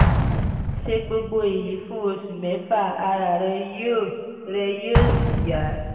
ṣe gbogbo èyí fún oṣù mẹ́fà ara rẹ yóò rẹ yóò sì yá